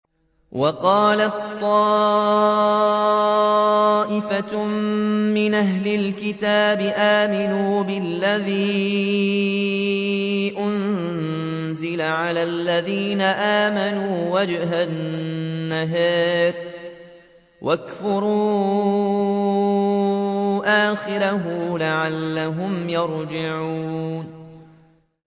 وَقَالَت طَّائِفَةٌ مِّنْ أَهْلِ الْكِتَابِ آمِنُوا بِالَّذِي أُنزِلَ عَلَى الَّذِينَ آمَنُوا وَجْهَ النَّهَارِ وَاكْفُرُوا آخِرَهُ لَعَلَّهُمْ يَرْجِعُونَ